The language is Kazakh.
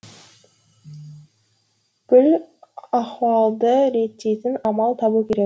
бүл ахуалды реттейтін амал табу керек